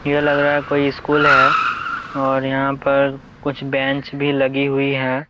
यह लग रहा कोई स्कूल है और यहाँ पर कुछ बेंच भी लगी हुई है।